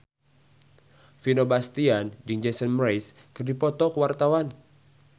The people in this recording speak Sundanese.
Vino Bastian jeung Jason Mraz keur dipoto ku wartawan